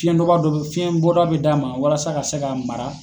Fiyɛn dɔba dɔ bɛ fiyɛn bɔda bɛ d'a ma walasa a ka se ka mara.